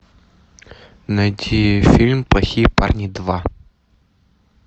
найти фильм плохие парни два